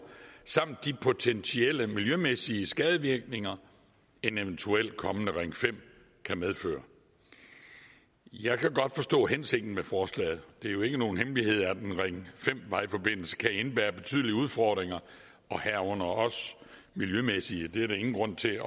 samt i de potentielle miljømæssige skadevirkninger en eventuel kommende ring fem kan medføre jeg kan godt forstå hensigten med forslaget det er jo ikke nogen hemmelighed at en ring fem vejforbindelse kan indebære betydelige udfordringer herunder også miljømæssige det er der ingen grund til at